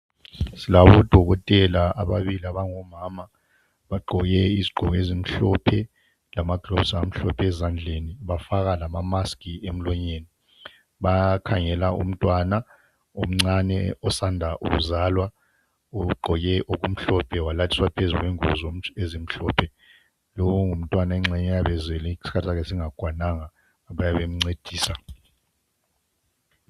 Silabo dokotela ababili abango mama abagqoko ijazi elimhlophe lamaglovisi amhlophe ezandleni bafaka lama maski emlonyeni bayakhangela umntwana omncane osanda kuzalwa ugqoke okumhlophe walaliswa phezu kwengubo ezimhlophe lowu ngumntwana oyabe zelwe isikhathi sakhe sokuzalwa singakatshayi bayabe bencedisa